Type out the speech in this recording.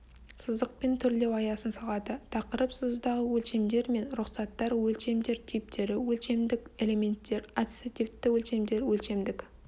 сызықпен түрлеу аясын салады тақырып сызудағы өлшемдер мен рұқсаттар өлшемдер типтері өлшемдік элементтер ассоциативті өлшемдер өлшемдік